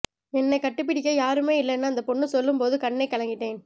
என்ன கட்டிப்பிடிக்க யாருமே இல்லனு அந்த பொண்ணு சொல்லும் போது கண்ணே கலங்கிட்டேன்